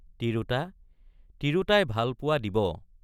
তিৰোতা—তিৰোতাই ভাল পোৱা দিব!